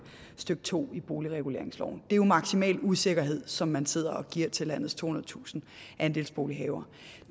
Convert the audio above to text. stykke to i boligreguleringsloven det er jo maksimal usikkerhed som man sidder og giver til landets tohundredetusind andelsbolighavere